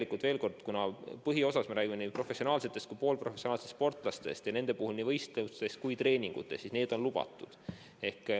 No veel kord: põhiosas me räägime nii professionaalsetest kui ka poolprofessionaalsetest sportlastest ja nende puhul on nii võistlused kui ka treeningud lubatud.